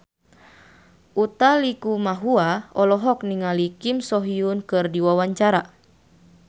Utha Likumahua olohok ningali Kim So Hyun keur diwawancara